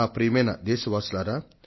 ప్రియమైన నా దేశ వాసులారా